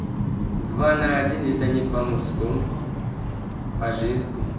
два на один это не по мужскому по женскому